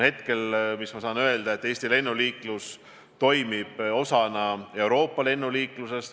Hetkel ma saan öelda, et Eesti lennuliiklus toimib osana Euroopa lennuliiklusest.